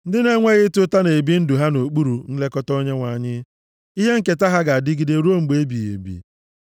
Ndị na-enweghị ịta ụta na-ebi ndụ ha nʼokpuru nlekọta Onyenwe anyị, ihe nketa ha ga-adịgide ruo mgbe ebighị ebi.